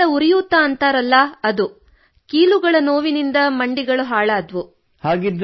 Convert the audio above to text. ಮಂಡಿಗಳ ಉರಿಯೂತ ಎನ್ನುತ್ತಾರಲ್ಲ ಅದು ಕೀಲುಗಳ ನೋವಿನಿಂದ ಮಂಡಿಗಳು ಹಾಳಾದವು